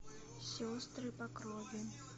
сестры по крови